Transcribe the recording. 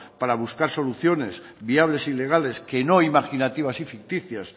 para buscar soluciones viables y legales que no imaginativas y ficticias